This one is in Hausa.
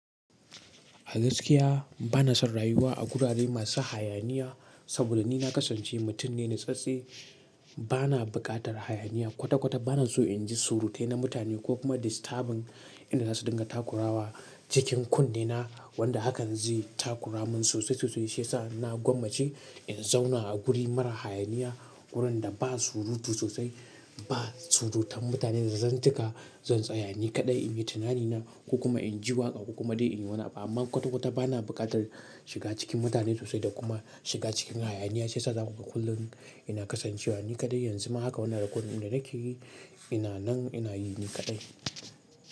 A gaskiya bana son rayuwa a gurare masu hayaniya saboda ni na kasance mutum ne nitsatstse. Bana buƙatar hayaniya kwata-kwata. Bana so in ji surutai na mutane ko kuma disturbing. Inda za su dinga takurawa cikin kunne na wanda hakan zai takura mun sosai sosai shi yasa na gwammace in zauna a guri mara hayaniya. Gurin da ba surutu sosai, ba surutan mutane da zan tika, zan tsaya ni kaɗai in yi tunani na ko kuma in ji waƙa ko kuma dai in yi wani abu. Amman kwata-kwata bana buƙatan shiga cikin mutane sosai, da kuma shiga cikin hayaniya shiyasa da ku ga kullum ina kasan cewa ni kaɗai. Yanzu ma haka wannan recording ɗin da nake yi ina nan ina yi ni kaɗai.